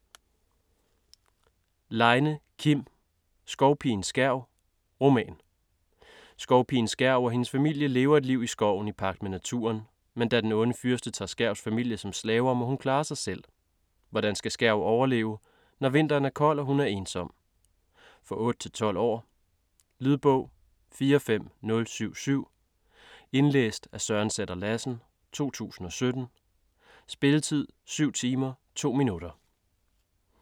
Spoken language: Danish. Leine, Kim: Skovpigen Skærv: roman Skovpigen Skærv og hendes familie lever et liv i skoven i pagt med naturen. Men da den onde fyrste tager Skærvs familie som slaver, må hun klare sig selv. Hvordan skal Skærv overleve, når vinteren er kold og hun er ensom? For 8-12 år. Lydbog 45077 Indlæst af Søren Sætter-Lassen, 2017. Spilletid: 7 timer, 2 minutter.